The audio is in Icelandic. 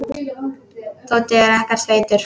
Tóti er ekkert feitur.